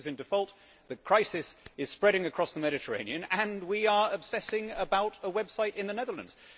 Greece is in default, the crisis is spreading across the Mediterranean and we are obsessing about a website in the Netherlands.